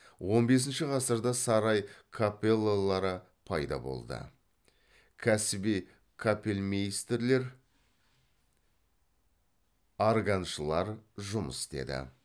он бесінші ғасырда сарай капеллалары пайда болды кәсіби капельмейстерлер органшылар жұмыс істеді